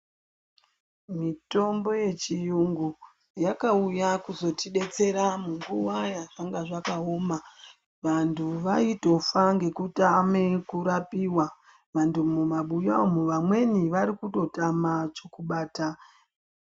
Mitombo yechiyungu yakauya kuzotidetsera nguwa yazvanga zvakaoma. Vantu vaitofa ngekutame kurapiwa. Mumabuya umwu amweni vari kutotama chekubata.